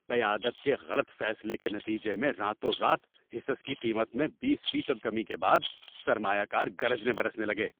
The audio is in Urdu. قیادت کے غلط فیصلے کے نتیجے میں راتوں رات حصص کی قیمت میں بیس فیصد کمی کے بعد سرمایہ کار گرجنے برسنے لگے۔